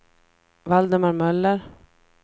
Valdemar Möller